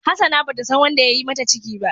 Hassana bata san wanda yayi mata ciki ba.